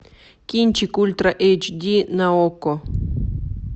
кинчик ультра эйч ди на окко